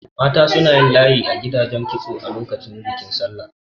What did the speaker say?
Mata suna layi a gidan kitso lokacin bikin Sallah.